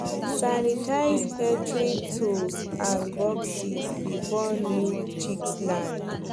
sanitize hatchery tools and boxes before new chicks land